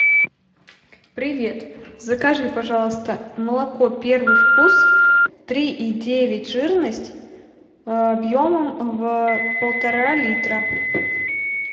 привет закажи пожалуйста молоко первый вкус три и девять жирность объемом в полтора литра